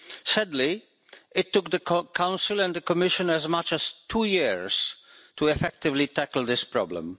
Sadly, it took the Council and the Commission as much as two years to effectively tackle this problem.